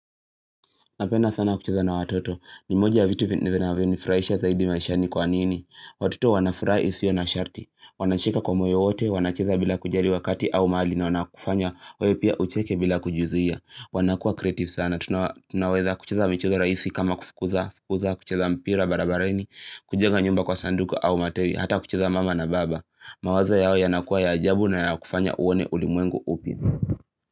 Napenda sana kucheza na watoto. Ni moja vitu vitu vinavyonifurahisha zaidi maishani kwa nini. Watoto wanafuraha isiyo na sharti. Wanacheka kwa moyo wote. Wanacheza bila kujali wakati au mali na wanakufanya. Wew pia ucheke bila kujizuia. Wanakuwa creative sana. Tunaweza kucheza michezo rahisi kama kufukuza. Kucheza mpira barabarani. Kujenga nyumba kwa sanduku au matawi. Hata kucheza mama na baba. Mawazo yao yanakuwa ya ajabu na yanakufanya uone ulimwengu upya.